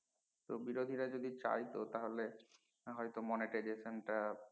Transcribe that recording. তো বিরোধীরা যদি চায়তো তাহলে না হয় monetization টা